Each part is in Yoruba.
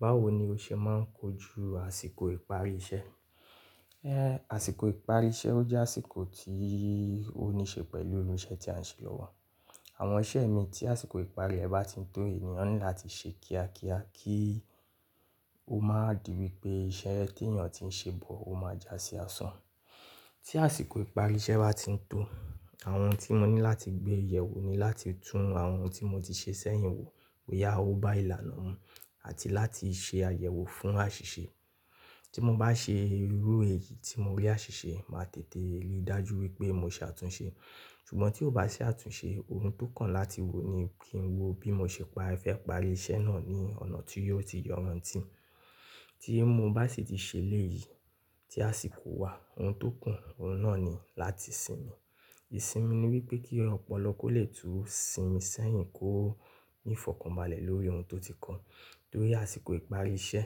Báwo ni o ṣe ma ń kojú àsìkò ìparí iṣẹ́? Ẹ́, àsìkò ìparí iṣẹ́ o jẹ́ àsìkò tí ó níṣe pẹ̀lú ìṣe tí a ń ṣe lọ́wọ́. Àwọn iṣẹ́ mi tí àsìkò ìparí rẹ̀ bá ti ń tó ènìyàn nílò láti ṣe kíákíá kí ó má di wípé iṣẹ́ tí èèyàn ti ń ṣe bọ̀ ó máa jásí asán. Tí àsìkò ìparí iṣẹ́ bá ti ń tó, àwọn tí mo ní láti gbé ìyẹ̀wò ni láti tún àwọn tí mo ti ṣe sẹ́yìn wò pé bóyá ó bá ìlànà mọ àti láti ṣe àyẹ̀wò fún àṣìṣe. Tí mo bá ṣe irú èyí tí mo rí àṣìṣe, màá tètè rí i dájú wípé mo ṣe àtúnṣe. Ṣùgbọ́n tí kò bá se àtúnṣe, ohun tókan láti wò ni kí n wo bí mo ṣe pa ìfẹ́ ìparí iṣẹ́ náà ní ọ̀nà tí yóò ti yọran ti. Tí mo bá sì ti ṣe léyìí tí àsìkò wà, ohun tókàn, òun náà ni láti sinmi. Ìsinmi ni wípé kí ọ̀pọ̀lọ lè tú sinmi sẹ́yìn kó ní ìfọ̀kànbalẹ̀ lórí ohun tó ti kó. Nítorí àsìkò ìparí iṣẹ́,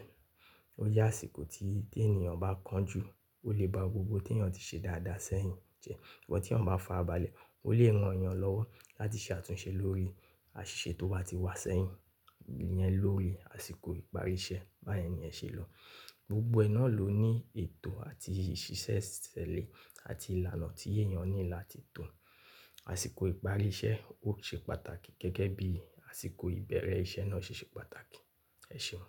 o jẹ́ àsìkò tí tí ènìyan kan jù, ó lè ba gbogbo tí èèyàn ti ṣe dáadáa sẹ́yìn jẹ. but. Tí èèyàn ba fara balẹ̀, ó lè ran èèyàn lọ́wọ́ láti ṣe àtúnṣe lórí àṣìṣe tó wà tí wà sẹ́yìn yẹn lórí àsìkò ìparí iṣẹ́. Báyẹn ni ẹ ṣe lọ. Gbogbo ẹ náà ló ní ètò àti ìṣísẹ́ ìṣẹ̀lẹ̀ àti ìlànà tí èèyàn nílò láti tò. Àsìkò ìparí iṣẹ́ ó ṣe pàtàkì gẹ́gẹ́ bí àsìkò ìbẹ̀rẹ̀ iṣẹ́ náà ṣe ṣe pàtàkì. Ẹ̀ṣeun.